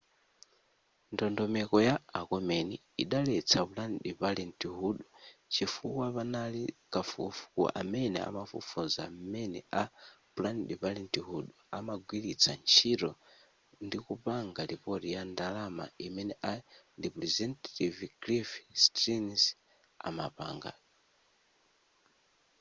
ndondomeko ya a komeni idaletsa planned parenthood chifukwa panali kafukufuku amene amafufuza mmene a planned parenthood amagwiritsa ntchito ndikupanga report ya ndalama imene a representative cliff stearns amapanga